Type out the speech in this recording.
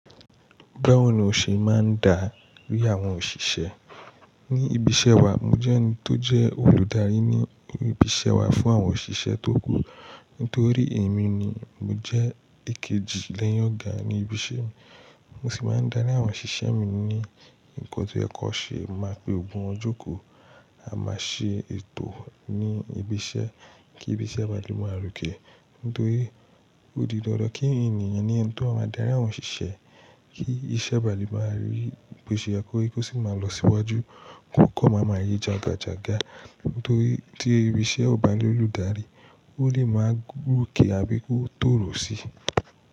Báwo ni o ṣe máa ń darí àwọn òṣìṣẹ́? Ní ibi iṣẹ́ wa, mo jẹ́ ẹni tó jẹ́ olùdarí ní ibi iṣẹ́ wa fún àwọn òṣìṣẹ́ tó kù. Nítorí èmi ni mo jẹ́ èkejì lẹ́yìn ọ̀gá ní ibi iṣẹ́ mi. Mo sì máa ń darí àwọn òṣìṣẹ́ mi ní nǹkan tó yẹ kó ṣe, máa pe gbogbo wọn jọ́ kò, a máa ṣe ètò ní ibi iṣẹ́ kí ibi iṣẹ́ bàlé máa rọkè. Nítorí ó di dandan kí ènìyàn ni ẹni tó máa darí àwọn òṣìṣẹ́ kí iṣẹ́ bàlé máa rí bò ṣe kórí, kí ó sì máa lọ síwájú. Kò kọ́ máa máa yé jagajaga, torí tí ibi iṣẹ́ ò bá ní olùdarí, ó lè máa gòkè àbí kó tó rọ̀ sí.